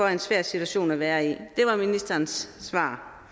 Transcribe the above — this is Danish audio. er en svær situation at være i det var ministerens svar